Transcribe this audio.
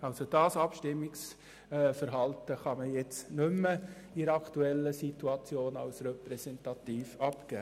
Dieses Abstimmungsverhalten der Kommission kann in der aktuellen Situation nicht mehr als repräsentativ gelten.